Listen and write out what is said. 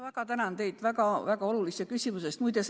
Ma tänan teid väga olulise küsimuse eest!